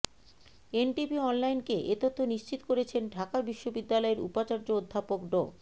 NTV অনলাইনকে এ তথ্য নিশ্চিত করেছেন ঢাকা বিশ্ববিদ্যালয়ের উপাচার্য অধ্যাপক ড